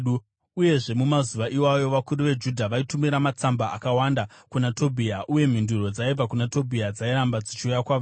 Uyezve, mumazuva iwayo vakuru veJudha vaitumira matsamba akawanda kuna Tobhia, uye mhinduro dzaibva kuna Tobhia dzairamba dzichiuya kwavari.